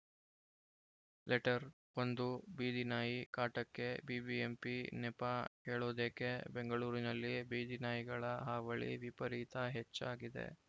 letter ಒಂದು ಬೀದಿನಾಯಿ ಕಾಟಕ್ಕೆ ಬಿಬಿಎಂಪಿ ನೆಪ ಹೇಳೋದೇಕೆ ಬೆಂಗಳೂರಿನಲ್ಲಿ ಬೀದಿನಾಯಿಗಳ ಹಾವಳಿ ವಿಪರೀತ ಹೆಚ್ಚಾಗಿದೆ